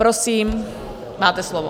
Prosím, máte slovo.